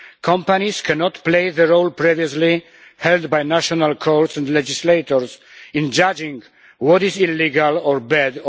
Companies cannot play the role previously held by national courts and legislators in judging what is or is not illegal or bad.